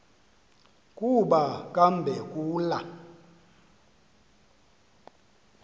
kuba kambe kula